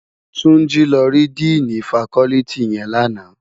Tunji lò ri dìnî fákòlìtí yèn làná